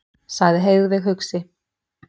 sagði Heiðveig hugsi.